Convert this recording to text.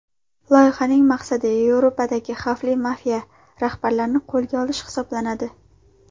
Loyihaning maqsadi Yevropadagi xavfli mafiya rahbarlarini qo‘lga olish hisoblanadi.